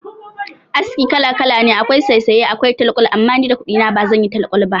Aski kala kala ne akwai saysaye akwai talkwal, amma ni da kudi na ba zan yi talkwal ba.